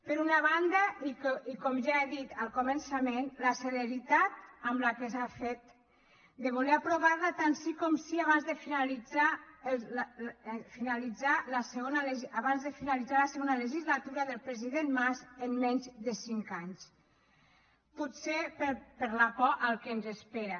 per una banda i com ja he dit al començament la celeritat amb què s’ha fet de voler aprovar la tant sí com sí abans de finalitzar la segona legislatura del president mas en menys de cinc anys potser per la por al que ens espera